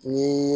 Ni